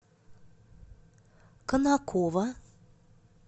конаково